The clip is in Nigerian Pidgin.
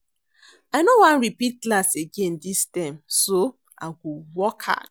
I no wan repeat class again dis term so I go work hard